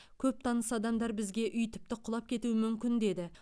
көп таныс адамдар бізге үй тіпті құлап кетуі мүмкін деді